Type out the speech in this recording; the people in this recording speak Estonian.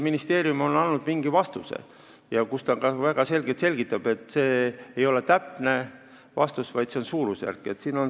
Ministeerium on andnud vastuse, kus ta ka väga selgelt selgitab, et see ei ole täpne vastus, vaid see on suurusjärk.